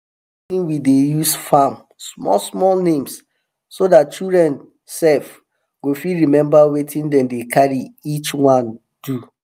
we name wetin we dey use farm small small names so dat children sef go fit remember wetin dem dey carry each one do.